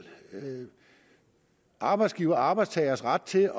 arbejdsgivers og arbejdstagers ret til